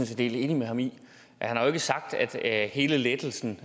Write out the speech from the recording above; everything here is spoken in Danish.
set helt enig med ham i han har jo ikke sagt at hele lettelsen